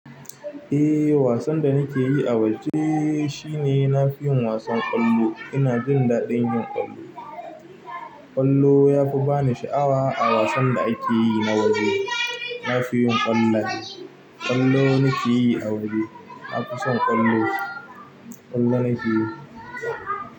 Eh wasan da nike yi a waje shine nafi yin wasan ƙwallo. Ina jin daɗin yin ƙwallo. Ƙwallo ya fi bani sha'awa a wasan da akeyi na waje. Nafiyin ƙwallaye. Ƙwallo muke yi a waje. Nafison ƙwallo. Ƙwallo nike yi.